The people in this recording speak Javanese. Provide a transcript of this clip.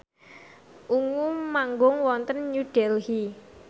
Ungu manggung wonten New Delhi